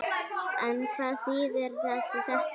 En hvað þýðir þessi setning?